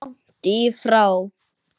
Nei, langt í frá.